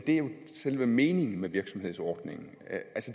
selve meningen med virksomhedsordningen